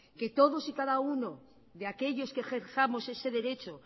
que todos y cada uno de aquellos que ejerzamos ese derecho